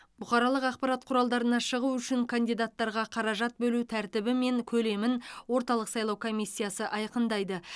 бұқаралық ақпарат құралдарына шығу үшін кандидаттарға қаражат бөлу тәртібі мен көлемін орталық сайлау комиссиясы айқындайды